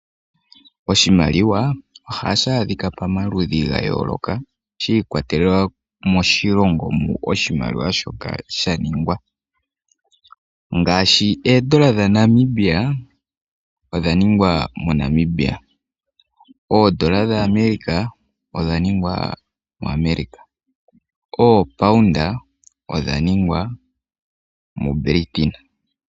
Oshimaliwa ohashi adhika pomaludhi ga yooloka shi ikwatelela moshilongo mu oshimaliwa shaningwa ngaashi oondola dha Namibia odha ningwa moNamibia. Oondola dha America odha ningwa mo America. Oopound odhaningwa mu Britain.